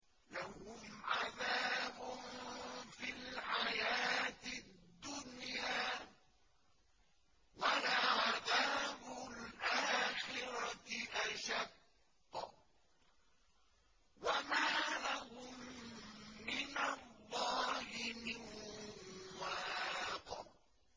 لَّهُمْ عَذَابٌ فِي الْحَيَاةِ الدُّنْيَا ۖ وَلَعَذَابُ الْآخِرَةِ أَشَقُّ ۖ وَمَا لَهُم مِّنَ اللَّهِ مِن وَاقٍ